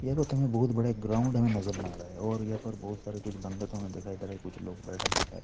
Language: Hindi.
यहाँ प थो बहुत बड़ा एक ग्राउंड हमे नज़र में आ रहा है और या पर बहुत सारे कुछ बन्दको हमे देखाई दे रहा ह कुछ लोग बैठा भी है।